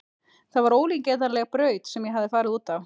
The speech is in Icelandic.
Það var ólíkindaleg braut sem ég hafði farið út á.